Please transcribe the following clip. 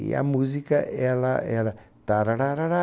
E a música ela era